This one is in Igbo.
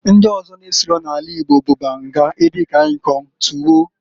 Ndi ọzọ n'esiro n'ana Igbo bụ, banga, edi kan ikong, tuwo.